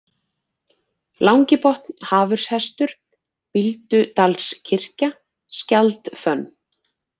Langi-Botn, Hafurshestur, Bíldudalskirkja, Skjaldfönn